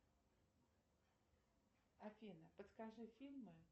афина подскажи фильмы